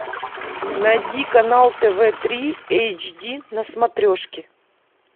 найди канал тв три эйч ди на смотрешке